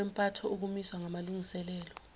kwempatho ukumiswa kwamalungiselelo